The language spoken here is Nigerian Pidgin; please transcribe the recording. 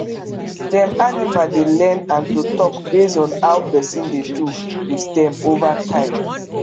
dem animal dey learn and to talk base on how person dey do with dem over time